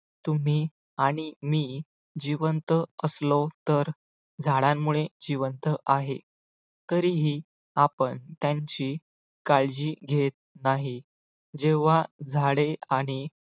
तुम्ही आणि मी जिवंत असलो तर झाडांमुळे जिवंत आहे तरीही आपण त्यांची काळजी घेत नाही. जेव्हा झाडे आणि